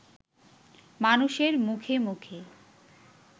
মানুষের মুখে মুখে